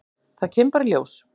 Það kemur bara í ljós.